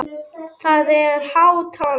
Það er há tala.